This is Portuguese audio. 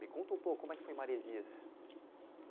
Me conta um pouco, como é que foi em Maresias?